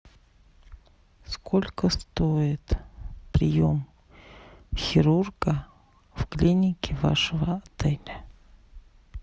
сколько стоит прием хирурга в клинике вашего отеля